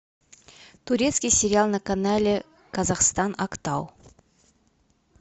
турецкий сериал на канале казахстан актау